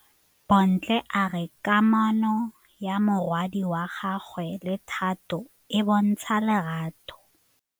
Bontle a re kamanô ya morwadi wa gagwe le Thato e bontsha lerato.